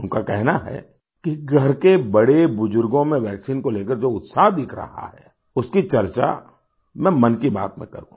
उनका कहना है कि घर के बड़े बुजुर्गों में वैक्सीन को लेकर जो उत्साह दिख रहा है उसकी चर्चा मैं मन की बात में करूँ